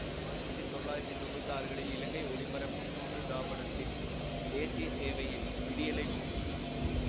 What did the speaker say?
ஆயிரத்தி தொள்ளாயிரத்தி தொன்னூத்தி ஆறுகளில் இலங்கை ஒலிபரப்பு கூட்டுத்தாபனத்தின் தேசிய சேவையில் விடியலை நோக்கி